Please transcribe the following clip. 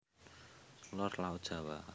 Lor Laut Jawa